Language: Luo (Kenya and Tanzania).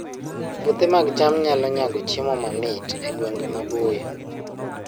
Puothe mag cham nyalo nyago chiemo matin e gwenge maboyo